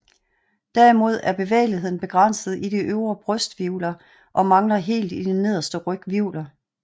Derimod er bevægeligheden begrænset i de øvre brysthvirvler og mangler helt i de nederste ryghvirvler